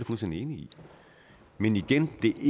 fuldstændig enig i men igen vil